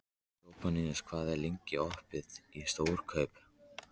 Sophanías, hvað er lengi opið í Stórkaup?